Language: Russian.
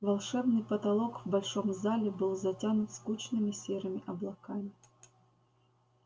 волшебный потолок в большом зале был затянут скучными серыми облаками